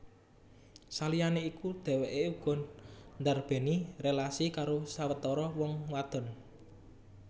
Saliyané iku dhèwèké uga ndarbèni rélasi karo sawetara wong wadon